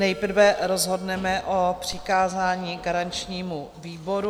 Nejprve rozhodneme o přikázání garančnímu výboru.